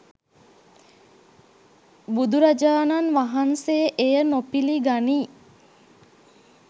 බුදුරජාණන් වහන්සේ එය නොපිළිගනී.